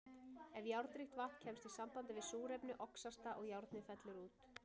Ef járnríkt vatn kemst í samband við súrefni, oxast það og járnið fellur út.